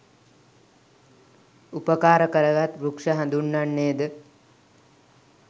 උපකාර කරගත් වෘක්ෂ හඳුන්වන්නේ ද